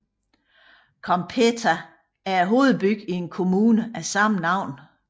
Cómpeta er hovedbyen i en kommune af samme navn